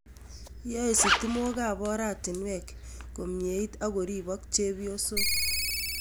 Yoe sitimookab oratinweek komyeit ak koripok chepyosook